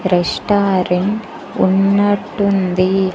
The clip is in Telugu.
రెస్టారెంట్ ఉన్నట్టుంది.